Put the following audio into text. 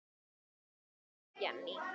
Þín dóttir, Jenný.